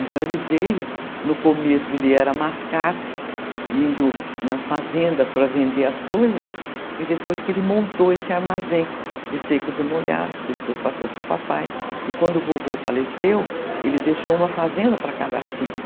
Então ele veio, no começo ele era mascate, indo nas fazendas para vender as coisas, e depois que ele montou esse armazém de secos e molhados, que depois passou para o papai, e quando o vovô faleceu, ele deixou uma fazenda para cada filho.